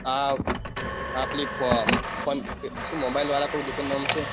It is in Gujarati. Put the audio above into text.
હા પેલી ફોને mobile વાળા કોઈ દુકાન નોમ છે